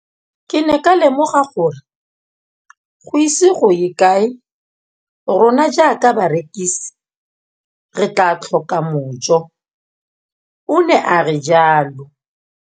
Ke ne ka lemoga gore go ise go ye kae rona jaaka barekise re tla tlhoka mojo, o ne a re jalo.